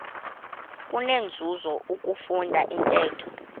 kunenzuzo ukufunda intetho